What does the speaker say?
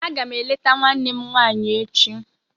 Aga m eleta nwanne m nwaanyị echi